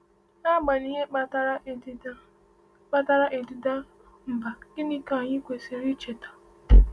N’agbanyeghị ihe kpatara ịdịda kpatara ịdịda mbà, gịnị ka anyị kwesiri icheta?